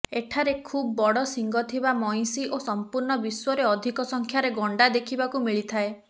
ଏଠାରେ ଖୁବ ବଡ଼ ଶିଙ୍ଗ ଥିବା ମଇଁଷି ଓ ସମ୍ପୂର୍ଣ୍ଣ ବିଶ୍ୱରେ ଅଧିକ ସଂଖ୍ୟାରେ ଗଣ୍ଡା ଦେଖିବାକୁ ମିଳିଥାଏ